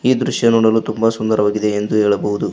ಈ ದೃಶ್ಯ ನೋಡಲು ತುಂಬ ಸುಂದರವಾಗಿದೆ ಎಂದು ಹೇಳಬಹುದು.